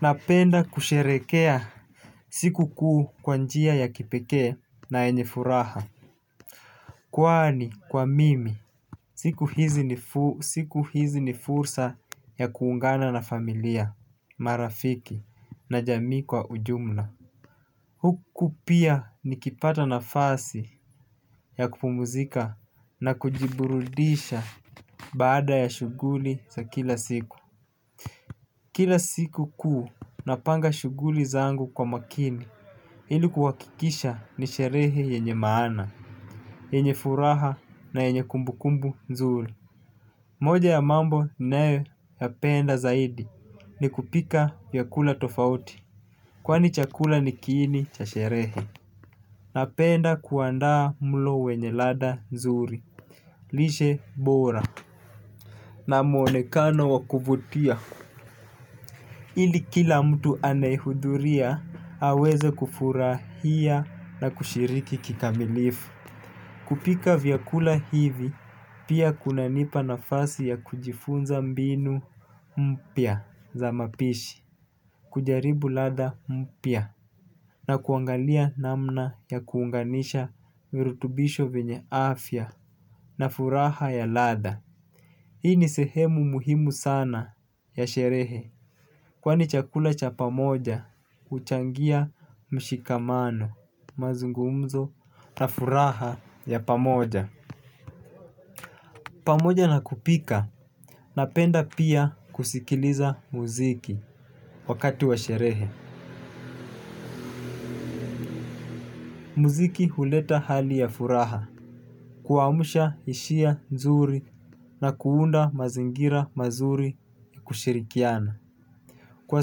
Napenda kusherehekea siku kuu kwa njia ya kipekee na yenye furaha. Kwani kwa mimi siku hizi ni fursa ya kuungana na familia, marafiki na jamii kwa ujumla huku pia nikipata nafasi ya kupumzika na kujiburudisha baada ya shuguli za kila siku kila siku kuu napanga shuguli zangu kwa makini ili kuhakikisha ni sherehe yenye maana yenye furaha na yenye kumbu kumbu nzuri. Moja ya mambo nayoyapenda zaidi ni kupika vyakula tofauti kwani chakula ni kiini cha sherehe. Napenda kuandaa mlo wenye ladha nzuri lishe bora na muonekano wa kuvutia ili kila mtu anayehudhuria aweze kufurahia na kushiriki kikamilifu. Kupika vyakula hivi pia kunanipa nafasi ya kujifunza mbinu mpya za mapishi kujaribu ladha mpya na kuangalia namna ya kuunganisha mirutubisho venye afya na furaha ya ladha hii ni sehemu muhimu sana ya sherehe. Kwani chakula cha pamoja huchangia mshikamano mazungumzo na furaha ya pamoja. Pamoja na kupika, napenda pia kusikiliza muziki wakati wa sherehe. Muziki huleta hali ya furaha, kuamsha ishia nzuri na kuunda mazingira mazuri kushirikiana. Kwa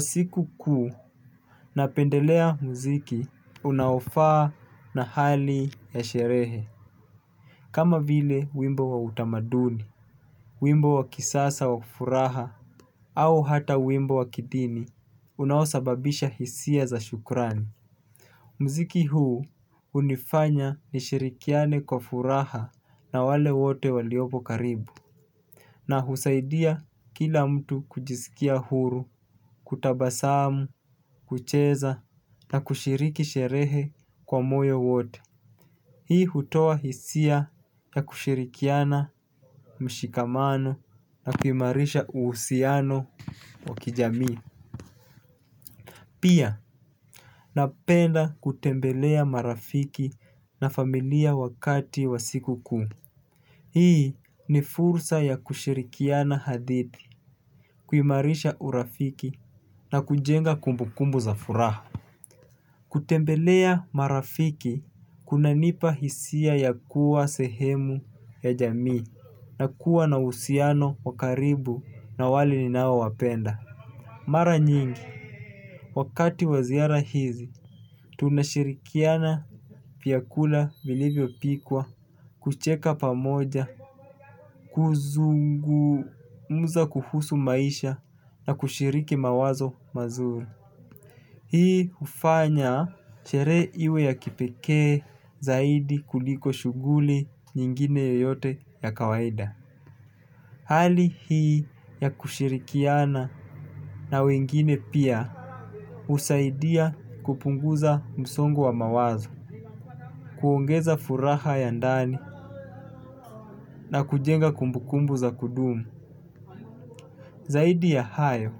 sikukuu, napendelea muziki unaofaa na hali ya sherehe. Kama vile wimbo wa utamaduni, wimbo wa kisasa wa furaha, au hata wimbo wa kidini, unaosababisha hisia za shukrani. Mziki huu unifanya nishirikiane kwa furaha na wale wote waliopo karibu. Na husaidia kila mtu kujiskia huru, kutabasamu, kucheza, na kushiriki sherehe kwa moyo wote. Hii hutoa hisia ya kushirikiana mshikamano na kuimarisha uhusiano wa kijamii. Pia, napenda kutembelea marafiki na familia wakati wa sikukuu. Hii ni fursa ya kushirikiana hadithi, kuimarisha urafiki na kujenga kumbu kumbu za furaha. Kutembelea marafiki kunanipa hisia ya kuwa sehemu ya jamii na kuwa na uhusiano wa karibu na wale ninaowapenda. Mara nyingi wakati wa ziara hizi tunashirikiana vyakula vilivyopikwa kucheka pamoja kuzungumza kuhusu maisha na kushiriki mawazo mazuri. Hii ufanya sherehe iwe ya kipeke zaidi kuliko shuguli nyingine yoyote ya kawaida. Hali hii ya kushirikiana na wengine pia usaidia kupunguza msongo wa mawazo kuongeza furaha ya ndani na kujenga kumbukumbu za kudumu. Zaidi ya hayo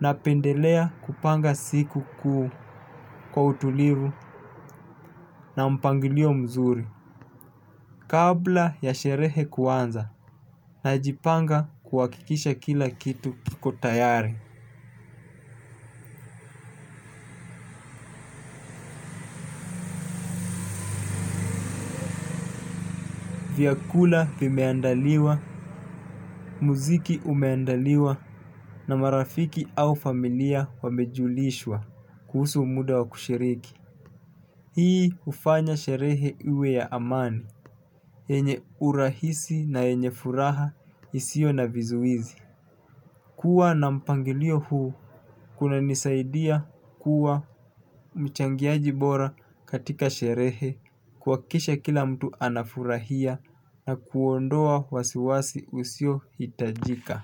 napendelea kupanga sikukuu kwa utulivu na mpangilio mzuri. Kabla ya sherehe kuanza na najipanga kuhakikisha kila kitu kiko tayari. Vyakula vimeandaliwa, muziki umeandaliwa na marafiki au familia wamejulishwa kuhusu muda wa kushiriki. Hii ufanya sherehe iwe ya amani, yenye urahisi na yenye furaha isio na vizuizi. Kuwa na mpangilio huu, kunanisaidia kuwa mchangiaji bora katika sherehe, kuhakisha kila mtu ana furahia na kuondoa wasiwasi usio hitajika.